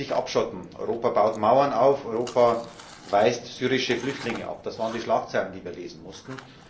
Europa würde sich abschotten, Europa baut Mauern auf, Europa weist syrische Flüchtlinge ab das waren die Schlagzeilen, die wir lesen mussten.